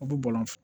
U bɛ bɔlɔn fɛ